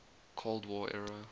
cold war era